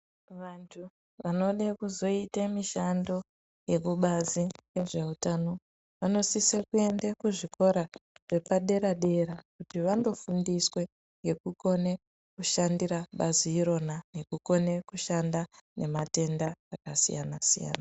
Vantu wanoda kuzoita mishando yemubazi yezveutano wanosisa kuende kuzvikora zvepadera dera kuti vanofundiswe nekukona kushandora bazi irona nekukona kushanda matenda akasiyana siyana.